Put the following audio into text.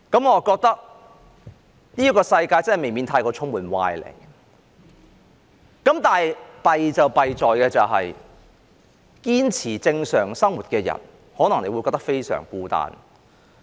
我覺得這世界未免充斥歪理，但糟糕的是，堅持正常生活的人可能會感到非常孤單。